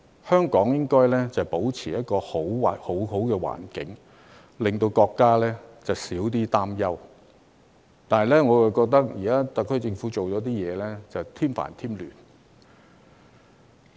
香港理應保持一個良好的環境，令國家可少一點擔憂，但我感到特區政府的某些所為卻是在添煩添亂。